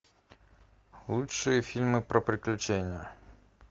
лучшие фильмы про приключения